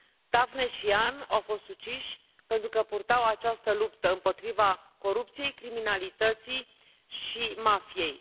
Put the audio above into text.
Daphne și Jan au fost uciși pentru că purtau această luptă împotriva corupției, criminalității și mafiei.